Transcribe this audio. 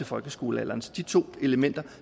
folkeskolealderen så de to elementer